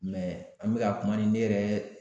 an bɛ ka kuma ni ne yɛrɛ